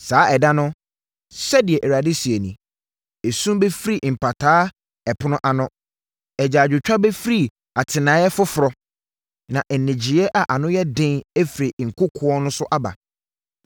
“Saa ɛda no,” sɛdeɛ Awurade seɛ nie, “Esu bɛfiri Mpataa Ɛpono ano, agyaadwotwa bɛfiri Atenaeɛ Foforɔ na nnyegyeeɛ a ano yɛ den afiri nkokoɔ no so aba.